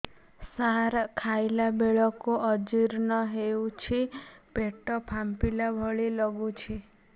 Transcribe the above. ସାର ଖାଇଲା ବେଳକୁ ଅଜିର୍ଣ ହେଉଛି ପେଟ ଫାମ୍ପିଲା ଭଳି ଲଗୁଛି